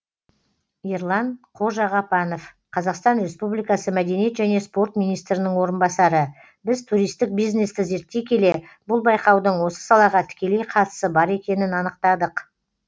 ерлан қожағапанов қазақстан республикасы мәдениет және спорт министрінің орынбасары біз туристік бизнесті зерттей келе бұл байқаудың осы салаға тікелей қатысы бар екенін анықтадық